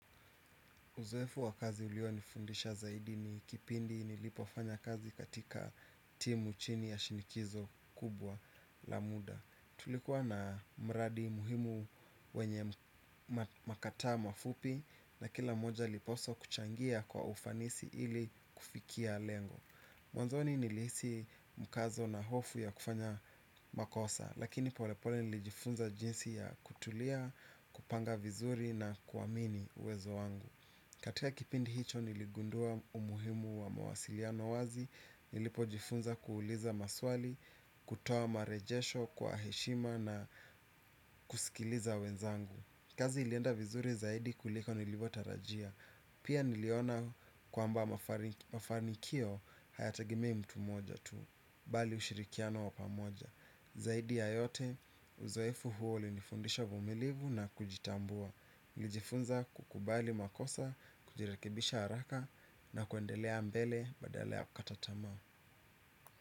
Uzoefu wa kazi ulionifundisha zaidi ni kipindi nilipofanya kazi katika timu chini ya shinikizo kubwa la muda. Tulikuwa na mradi muhimu wenye makataa mafupi na kila moja aliposwa kuchangia kwa ufanisi ili kufikia lengo. Mwanzoni nilihisi mkazo na hofu ya kufanya makosa lakini polepole nilijifunza jinsi ya kutulia, kupanga vizuri na kuamini uwezo wangu. Katika kipindi hicho niligundua umuhimu wa mawasiliano wazi, nilipojifunza kuuliza maswali, kutoa marejesho kwa heshima na kusikiliza wenzangu. Kazi ilienda vizuri zaidi kuliko nilivyotarajia, pia niliona kwamba mafanikio hayategemei mtu mmoja tu, bali ushirikiano wa pamoja. Zaidi ya yote, uzoefu huo ulinifundisha uvumilivu na kujitambua nilijifunza kukubali makosa, kujirekebisha haraka na kuendelea mbele badala ya kukata tamaa.